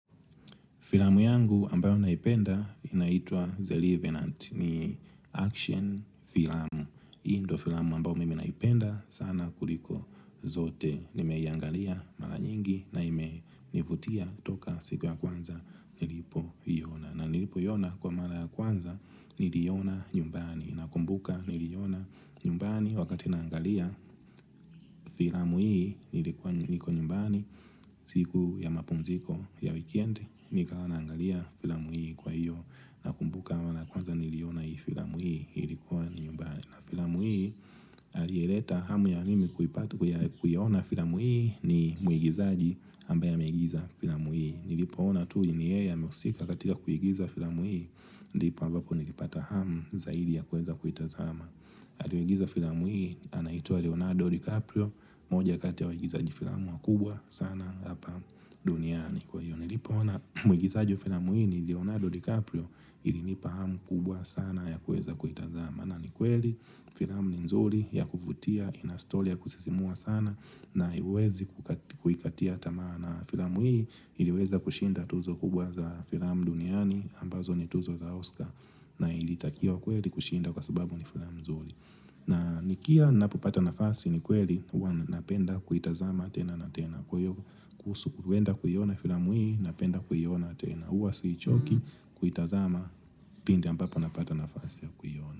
Filamu yangu ambayo naipenda inaitwa The Levenant ni action Filamu. Hii ndo filamu ambayo mimi naipenda sana kuliko zote. Nimeiangalia mara nyingi na ime nivutia toka siku ya kwanza nilipo iona. Na nilipo iona kwa mara ya kwanza niliiona nyumbani. Nakumbuka niliona nyumbani wakati naangalia filamu hii nilikuwa nyumbani siku ya mapumziko ya weekend nikawa naangalia filamu hii kwa hiyo nakumbuka mara ya kwanza niliiona filamu hii nilikuwa nyumbani aliyeleta hamu ya mimi kuiona filamu hii ni muigizaji aliyeigiza filamu hii. Nilipoona ni yeye kaigiza ndipo ambapo nilipata hamu zaidi ya kuweza kuitazama alieigiza filamu hii anaitwa Leonardo DiCaprio moja kati ya waigizaji filamu wakubwa sana hapa duniani Kwa hiyo nilipo ona muigizaji wa filamu hii ni Leonardo DiCaprio ilinipa hamu kubwa sana ya kuweza kuitazama na ni kweli filamu ni nzuri ya kuvutia Inastori ya kusisimua sana na iwezi kuikatia tamaa na filamu hii iliweza kushinda tuzo kubwa za filamu duniani ambazo ni tuzo za Oscar na ilitakiwa kweli kushinda kwa subabu ni filame nzuri. Na nikiwa nanapopata nafasi ni kweli Uwa napenda kuitazama tena na tena Kwaiyo kuhusu kuenda kuiona filamu hii Napenda kuiona tena huwa sichoki kuitazama pindi ambapo napata nafasi ya kuiona.